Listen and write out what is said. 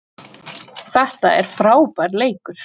Það er frábær leikur.